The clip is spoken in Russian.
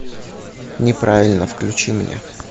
неправильно включи мне